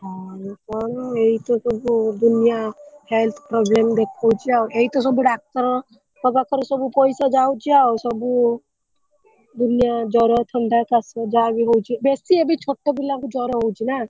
ହଁ ଲୋକମାନଙ୍କୁ ଏଇଆତ ସବୁ ଦୁନିଆ health problem ଦେଖଉଛି ଆଉ ଏଇତ ସବୁ ଡାକ୍ତର ଙ୍କ ପାଖରେ ସବୁ ପଇସା ଯାଉଛି ଆଉ ସବୁ ଦୁନିଆ ଜ୍ବର ଥଣ୍ଡା କାଶ ଯାହାବି ହଉଛି ବେଶୀ ଏବେ ଛୋଟ ପିଲାଙ୍କୁ ଜ୍ବର ହଉଛି ନା।